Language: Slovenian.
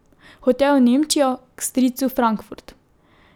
Hotel je v Nemčijo, k stricu v Frankfurt.